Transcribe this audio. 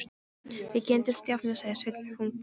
Við kynntumst í afmæli, sagði Sveinn þungbúinn.